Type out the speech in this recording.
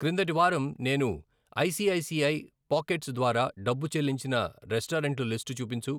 క్రిందటి వారం నేను I C I C I Pockets ద్వారా డబ్బు చెల్లించిన రెస్టారెంట్ల లిస్టు చూపించు.